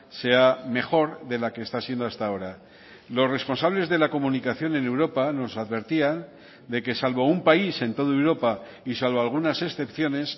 sea mejor de la que está siendo hasta ahora los responsables de la comunicación en europa nos advertían de que salvo un país en toda europa y salvo algunas excepciones